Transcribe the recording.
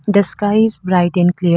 The sky is bright and clea --